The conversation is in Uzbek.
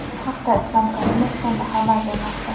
Bu haqda Islom Karimov fondi xabar bermoqda.